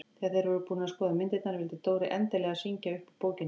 Þegar þeir voru búnir að skoða myndirnar vildi Dóri endilega syngja upp úr bókinni.